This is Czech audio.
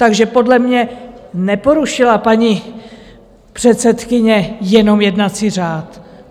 Takže podle mě neporušila paní předsedkyně jenom jednací řád.